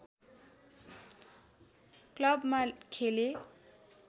क्लबमा खेले